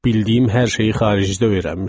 Bildiyim hər şeyi xaricdə öyrənmişəm.